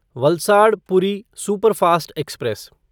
Valsad Puri superfast express